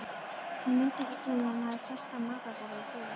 Hann mundi ekki hvenær hann hafði sest að matarborði síðast.